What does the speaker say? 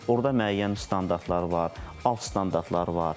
Orda müəyyən standartlar var, alt standartlar var.